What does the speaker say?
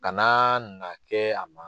Kanaa na kɛ a ma